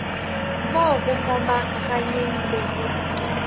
mo go momaganyeng le go